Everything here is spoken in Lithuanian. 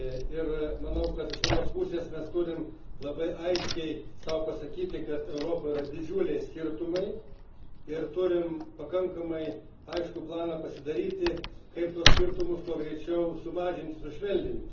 Ir manau, kad iš vienos pusės mes turime labai aiškiai sau pasakyti, kad Europoje yra didžiuliai skirtumai ir turime pasidaryti pakankamai aiškų planą, kaip tuos skirtumus kuo greičiau sumažinti, sušvelninti.